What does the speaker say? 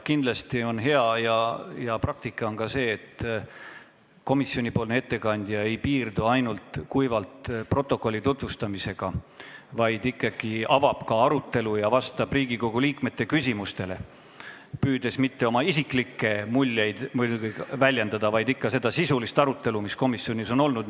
Kindlasti on hea praktika see, et komisjoni ettekandja ei piirdu ainult kuivalt protokolli tutvustamisega, vaid avab ka komisjonis peetud arutelu sisu ja vastab Riigikogu liikmete küsimustele, püüdes seejuures mitte oma isiklikke muljeid väljendada, vaid edastada ikka seda sisulist arutelu, mis komisjonis on olnud.